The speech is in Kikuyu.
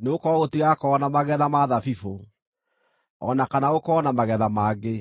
nĩgũkorwo gũtigakorwo na magetha ma thabibũ, o na kana gũkorwo na magetha mangĩ.